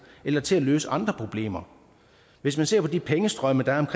eller til at løse andre problemer hvis man ser på de pengestrømme der er